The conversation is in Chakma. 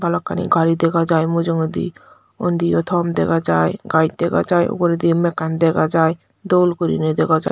balokkani gari dega jai mujungedi undi yo thom dega jai gaj dega jai uguredi yo mekkani dega jai dol guriney dega jai.